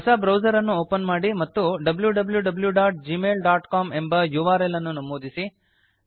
ಹೊಸ ಬ್ರೌಸರ್ ಅನ್ನು ಓಪನ್ ಮಾಡಿ ಮತ್ತು wwwgmailcom ಎಂಬ ಯುಆರ್ಎಲ್ ಅನ್ನು ನಮೂದಿಸಿ